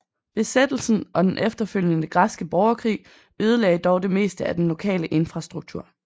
Besættelsen og den efterfølgende græske borgerkrig ødelagde dog det meste af den lokale infrastruktur